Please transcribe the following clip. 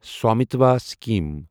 Swamitva scheme